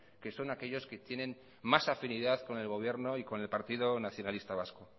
que son aquellos que tienen más afinidad con el gobierno y con el partido nacionalista vasco